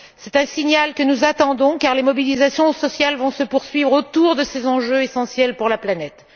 C'est un signal que nous attendons, car les mobilisations sociales vont se poursuivre autour de ces enjeux essentiels pour la planète.